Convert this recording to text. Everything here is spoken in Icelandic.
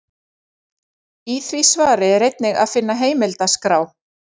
Í því svari er einnig að finna heimildaskrá.